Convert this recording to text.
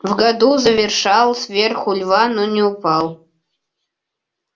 в году заверещал сверху лева но не упал